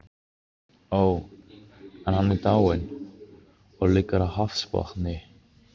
Ó, en hann er dáinn, og liggur á hafsbotni.